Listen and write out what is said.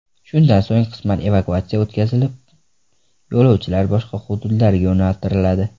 Shundan so‘ng, qisman evakuatsiya o‘tkazilib, yo‘lovchilar boshqa hududlarga yo‘naltiriladi.